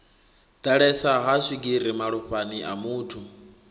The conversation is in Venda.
ḓalesa ha swigiri malofhani amuthu